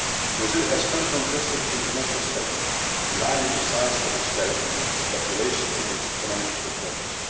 Brazil has uncontested international stature in line with the size of its territory, its population and its economic performance.